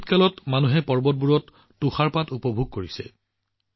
এই শীতকালত মানুহে পৰ্বতবোৰত তুষাৰপাত উপভোগ কৰিছিল